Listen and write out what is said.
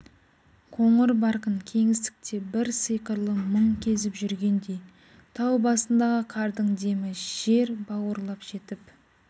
қоңыр барқын кеңістікте бір сиқырлы мұң кезіп жүргендей тау басындағы қардың демі жер бауырлап жетіп